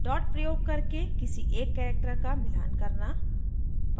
dot प्रयोग करके किसी एक character का मिलान करना